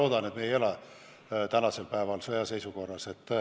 Mina loodan, et me ei ela tänasel päeval sõjaseisukorras.